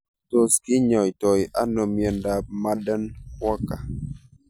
Tos kinyaitoi ano miondop Marden Walker